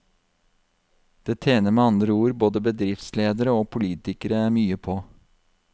Det tjener med andre ord både bedriftsledere og politikere mye på.